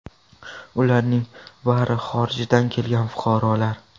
Ularning bari xorijdan kelgan fuqarolar.